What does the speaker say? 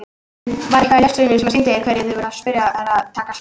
Var eitthvað í lestinni sem sýndi hverjir þið voruð spurði Herra Takashi.